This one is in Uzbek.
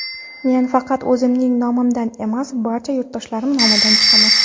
Men faqat o‘zimning nomimdan emas, barcha yurtdoshlarim nomidan chiqaman.